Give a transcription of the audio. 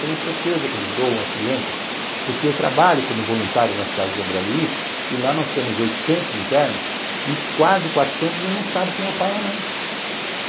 Tenho certeza que eles doam as crianças, porque eu trabalho como voluntário nas Casas André Luiz, e lá nós temos oitocentos internos, e quase quatrocentos e a gente não sabe quem é o pai e a mãe.